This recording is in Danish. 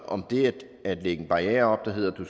om det at lægge en barriere op der hedder at du